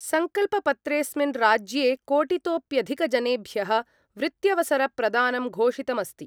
सङ्कल्पपत्रेस्मिन् राज्ये कोटितोप्यधिकजनेभ्यः वृत्यवसरप्रदानं घोषितमस्ति।